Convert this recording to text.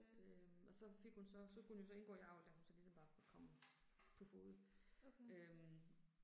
Øh og så fik hun så, så skulle hun jo så indgå i avl da hun så ligesom var kommet på fode øh